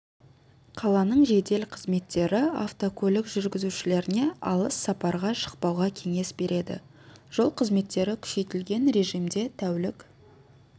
қаланың жедел қызметтері автокөлік жүргізушілеріне алыс сапарға шықпауға кеңес береді жол қызметтері күшейтілген режимде тәулік